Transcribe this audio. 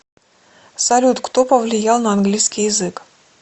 салют кто повлиял на английский язык